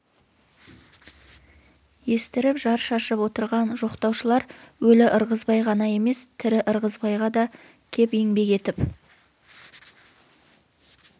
естіріп жар шашып отырған жоқтаушылар өлі ырғызбай ғана емес тірі ырғызбайға да кеп еңбек етіп